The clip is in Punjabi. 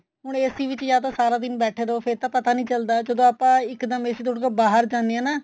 ਹੁਣ AC ਵਿੱਚ ਜਾਂ ਤਾਂ ਸਾਰਾ ਦਿਨ ਬੈਠੇ ਰਹੋ ਫੇਰ ਤਾਂ ਪਤਾ ਨਹੀਂ ਚੱਲਦਾ ਜਦੋਂ ਆਪਾਂ ਇੱਕ ਦਮ AC ਤੋਂ ਉੱਠ ਕੇ ਬਾਹਰ ਜਾਂਦੇ ਹਾਂ ਨਾ